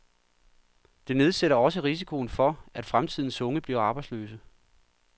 Det nedsætter også risikoen for, at fremtidens unge bliver arbejdsløse.